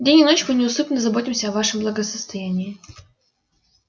день и ночь мы неусыпно заботимся о вашем благосостоянии